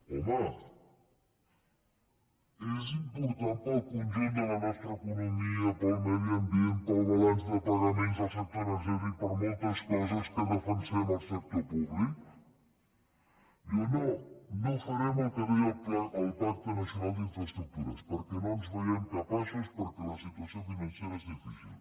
home és important per al conjunt de la nostra economia per al medi ambient per al balanç de pagaments del sector energètic per a moltes coses que defensem el sector públic diuen no no farem el que deia el pacte nacional per a les infraestructures perquè no ens en veiem capaços perquè la situació financera és difícil